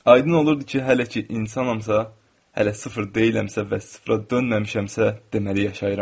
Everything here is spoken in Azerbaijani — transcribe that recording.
Aydın olurdu ki, hələ ki insanammsa, hələ sıfır deyilsəmsə və sıfıra dönməmişəmsə, deməli yaşayıram.